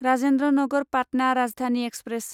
Rajendra Nagar Patna Rajdhani express